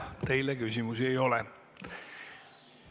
Teile küsimusi ei ole.